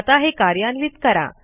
आता हे कार्यान्वित करा